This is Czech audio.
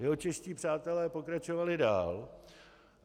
Jeho čeští přátelé pokračovali dál.